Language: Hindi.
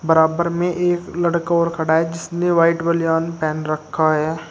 बराबर में एक लड़का और खड़ा है जिसने व्हाइट बनियान पहन रखा है।